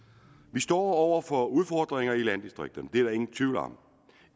vi står over for udfordringer i landdistrikterne det er der ingen tvivl om